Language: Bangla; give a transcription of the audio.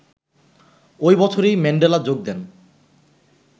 ওই বছরই ম্যান্ডেলা যোগ দেন